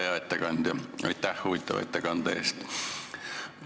Hea ettekandja, aitäh huvitava ettekande eest!